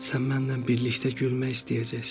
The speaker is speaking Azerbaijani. Sən mənlə birlikdə gülmək istəyəcəksən.